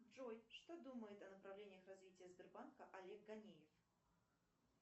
джой что думает о направлениях развития сбербанка олег ганеев